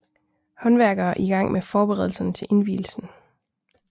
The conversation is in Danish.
Håndværkere i gang med forberedelserne til indvielsen